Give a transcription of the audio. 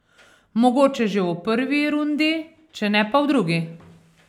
Mogoče že v prvi rundi, če ne pa v drugi.